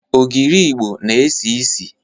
Ogiri Igbo na-esi isi.